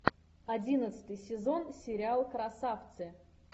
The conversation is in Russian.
одиннадцатый сезон сериал красавцы